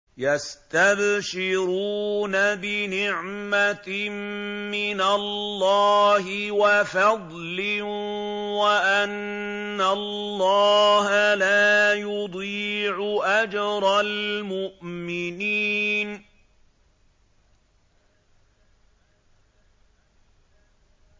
۞ يَسْتَبْشِرُونَ بِنِعْمَةٍ مِّنَ اللَّهِ وَفَضْلٍ وَأَنَّ اللَّهَ لَا يُضِيعُ أَجْرَ الْمُؤْمِنِينَ